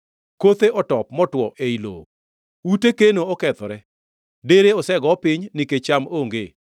Kothe otop motwo ei lowo. Ute keno okethore, dere osego piny, nikech cham onge.